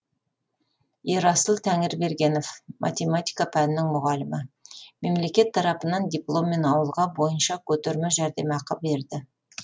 ерасыл тәңірбергенов математика пәнінің мұғалімі мемлекет тарапынан дипломмен ауылға бойынша көтерме жәрдемақы берді